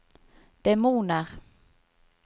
demoner